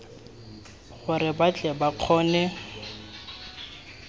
gore ba tle ba kgone